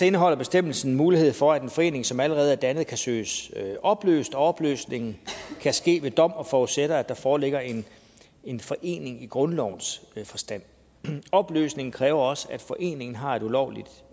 indeholder bestemmelsen mulighed for at den forening som allerede er dannet kan søges opløst og opløsning kan ske ved dom og forudsætter at der foreligger en en forening i grundlovens forstand opløsning kræver også at foreningen har et ulovligt